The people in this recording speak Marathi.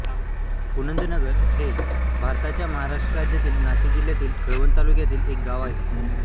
पुनदनगर हे भारताच्या महाराष्ट्र राज्यातील नाशिक जिल्ह्यातील कळवण तालुक्यातील एक गाव आहे